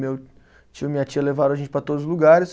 Meu tio e minha tia levaram a gente para todos os lugares.